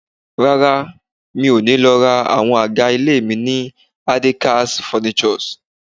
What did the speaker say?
Rárá, mi ò ní lọ ra àwọn àga ilé mi ni Adekaz Furnitures